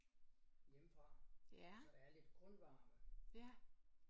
Hjemmefra så der er lidt grundvarme